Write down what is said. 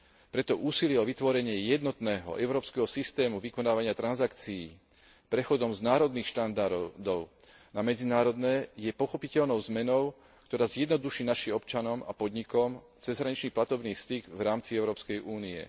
Preto úsilie o vytvorenie jednotného európskeho systému vykonávania transakcií prechodom z národných štandardov na medzinárodné je pochopiteľnou zmenou, ktorá zjednoduší našim občanom a podnikom cezhraničný platobný styk v rámci Európskej únie.